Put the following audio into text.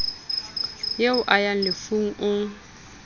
eo a ya lefung o